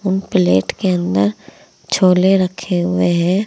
Plate के अंदर छोले रखे हुए है।